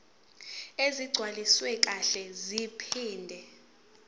ezigcwaliswe kahle zaphinde